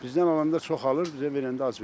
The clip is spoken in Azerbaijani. Bizdən alanda çoxalır, bizə verəndə az verir.